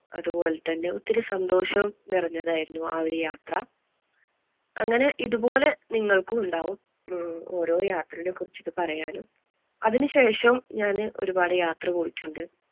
അതുപോലെ തന്നെ ഒത്തിരി സന്തോഷവും നിറഞ്ഞതായിരുന്നു ആ ഒരു യാത്ര. അങ്ങനെ ഇതുപോലെ നിങ്ങൾക്കും ഉണ്ടാകും ഓരോ യാത്രെനെ കുറിച്ചിട്ട് പറയാനും. അതിനു ശേഷം ഞാൻ ഒരുപാട് യാത്ര പോയിട്ടുണ്ട്.